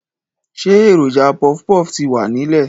Ṣé èròjà pọfpọf ti wà nílẹ̀